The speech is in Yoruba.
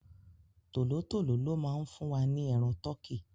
Tòló-tòló ló má ń fún wa ní ẹran tọkí.